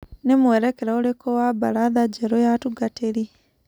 Ni-mwerekera ũrĩku wa mbaratha njerũ ya atungatĩri?